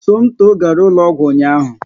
Somto gara ụlọ ọgwụ ụnyaahụ